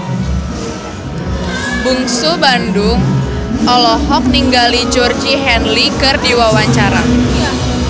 Bungsu Bandung olohok ningali Georgie Henley keur diwawancara